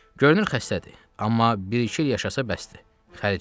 Görünür xəstədir, amma bir-iki il yaşasa bəsdir.